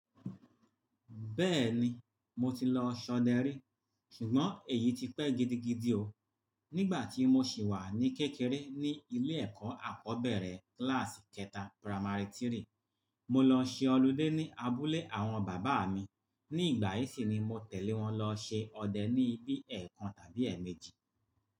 Bẹ́ẹ̀ni, mo ti lọ ṣọdẹ rí. Ṣùgbọ́n èyí ti pẹ́ gidigidi o. Nígbà tí mo sì wà ní kékeré ní ilé ẹ̀kọ́ àkọ́bẹ̀rẹ̀ kíláàsì kẹta, piramary 3, mo lọ ṣe holiday ní abúlé àwọn bàbá mi. Ní ìgbà yìí sì ni mo tẹ̀lé wọn lọ ṣe ọdẹ ní ibi ẹẹkan tàbí ẹẹ̀méjì.